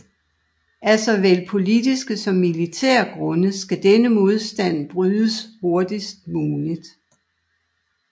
Af såvel politiske som militære grunde skal denne modstand brydes hurtigst muligt